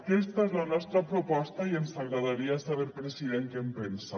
aquesta és la nostra proposta i ens agradaria saber president què en pensa